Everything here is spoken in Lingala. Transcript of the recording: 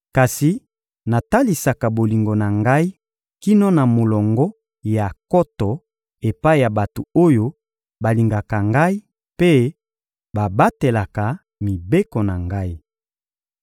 Kasi natalisaka bolingo na Ngai kino na molongo ya nkoto epai ya bato oyo balingaka Ngai mpe babatelaka mibeko na Ngai.